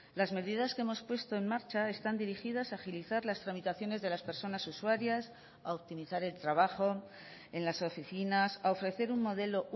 las medidas que hemos puesto en marcha están dirigidas a agilizar las tramitaciones de las personas usuarias a optimizar el trabajo en las oficinas a ofrecer un modelo